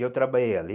E eu trabalhei ali.